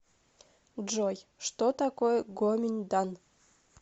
джой что такое гоминьдан